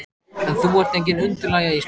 En þú ert engin undirlægja Ísbjörg.